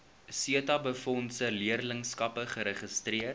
setabefondse leerlingskappe geregistreer